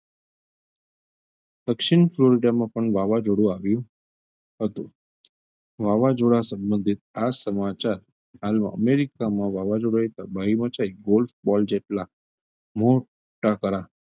દક્ષિણ વાવઝોડું આવ્યું હતું વાવાઝોડા સંબંધે આ સમાચાર હાલમાં અમેરિકામાં વાવાઝોડાએ તબાહી મચાઈ ગોળ ball જેટલાં મોટા કરા,